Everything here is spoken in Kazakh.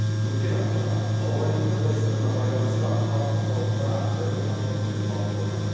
өткен аптада ауа райының қолайсыздығына байланысты қар құрсауында бір мың автокөлік қалып қойған